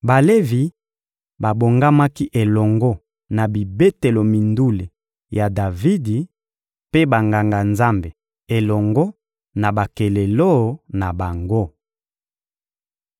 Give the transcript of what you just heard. Balevi babongamaki elongo na bibetelo mindule ya Davidi, mpe Banganga-Nzambe elongo na bakelelo na bango.